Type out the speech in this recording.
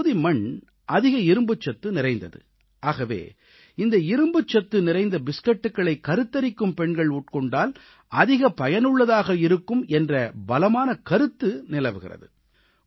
இந்தப் பகுதி மண் அதிக இரும்புச்சத்து நிறைந்தது ஆகவே இந்த இரும்புச் சத்து நிறைந்த பிஸ்கட்களை கருத்தரித்திருக்கும் பெண்கள் உட்கொண்டால் அதிக பயனுள்ளதாக இருக்கும் என்ற பலமான கருத்து நிலவுகிறது